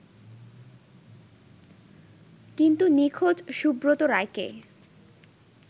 কিন্তু নিখোঁজ সুব্রত রায়কে